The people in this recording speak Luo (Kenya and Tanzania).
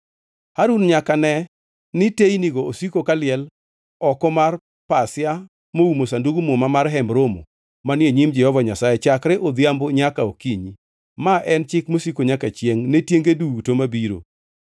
Harun nyaka ne ni teynigo osiko kaliel oko mar pasia moumo Sandug Muma mar Hemb Romo manie nyim Jehova Nyasaye chakre odhiambo nyaka okinyi. Ma en chik mosiko nyaka chiengʼ ne tienge duto mabiro.